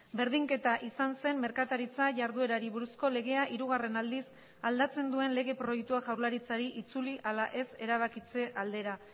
berdinketa izan zen merkataritza jarduerari buruzko legea hirugarren aldiz aldatzen duen lege proiektua jaurlaritzari itzuli ala ez erabakitze aldera